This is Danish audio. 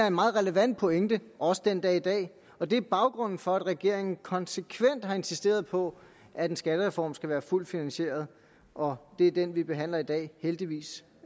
en meget relevant pointe også den dag i dag og det er baggrunden for at regeringen konsekvent har insisteret på at en skattereform skal være fuldt finansieret og det er den vi behandler i dag heldigvis